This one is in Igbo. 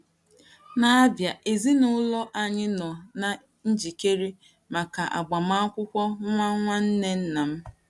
N’Abia, ezinụlọ anyị nọ na - ejikere maka agbamakwụkwọ nwa nwanne nna m.